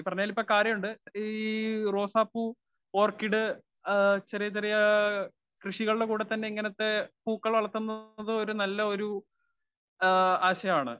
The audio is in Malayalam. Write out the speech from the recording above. സ്പീക്കർ 1 ഈ പറഞ്ഞവയിൽ ഇപ്പ കാര്യവുമുണ്ട്. ഈ റോസാപ്പൂ, ഓർക്കിഡ് ചെറിയ ചെറിയ യാ കൃഷികളുടെ കൂടെതന്നെ ഇങ്ങനത്തെ പൂക്കള് വളത്തുന്നത് നല്ലയൊരു ആശയമാണ്.